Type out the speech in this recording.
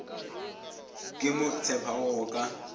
ke mo tshepago go ka